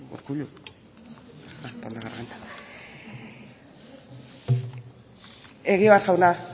urkullu egibar jauna